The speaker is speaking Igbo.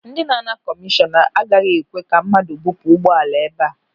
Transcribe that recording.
Ndị na-ana kọmishọn agaghị ekwe ka mmadụ bupu ụgbọala ebe a.